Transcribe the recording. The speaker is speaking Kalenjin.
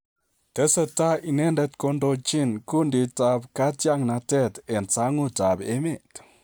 Tesetai inendet kondochin kunditab katiaknatet en sangutab emet.